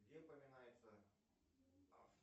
где упоминается